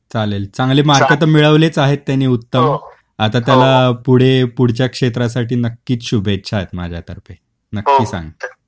हो हो. चालेल चांगली मार्क तर मिळवलीच आहे त्यांनी उत्तम आता त्याला पुढे पुढच्या क्षेत्रासाठी नक्कीच शुभेच्छा आहे माझ्या तर्फे. नक्की सांग.